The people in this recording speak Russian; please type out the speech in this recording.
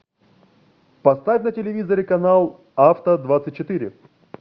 поставь на телевизоре канал авто двадцать четыре